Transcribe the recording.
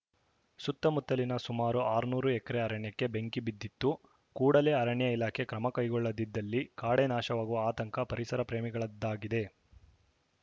ಸುತ್ತಮುತ್ತಲಿನ ಸುಮರು ಆರುನೂರು ಎಕರೆ ಅರಣ್ಯಕ್ಕೆ ಬೆಂಕಿ ಬಿದ್ದಿತ್ತು ಕೂಡಲೇ ಅರಣ್ಯ ಇಲಾಖೆ ಕ್ರಮ ಕೈಗೊಳ್ಳದಿದ್ದಲ್ಲಿ ಕಾಡೇ ನಾಶವಾಗುವ ಆತಂಕ ಪರಿಸರ ಪ್ರೇಮಿಗಳಾದ್ದಾಗಿದೆ